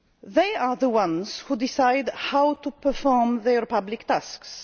They are the ones who decide how to perform their public